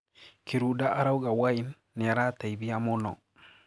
Kirunda arauga Wine 'niarateithia mũno.'